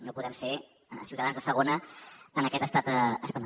no podem ser ciutadans de segona en aquest estat espanyol